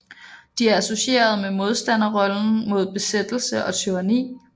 De er associeret med modstanderrollen mod besættelse og tyranni